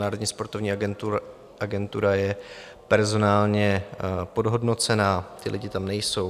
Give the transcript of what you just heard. Národní sportovní agentura je personálně podhodnocena, ti lidé tam nejsou.